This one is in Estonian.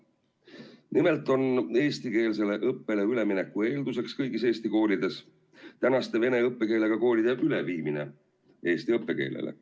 Nimelt on kõigis Eesti koolides eestikeelsele õppele ülemineku eelduseks praeguste vene õppekeelega koolide üleviimine eesti õppekeelele.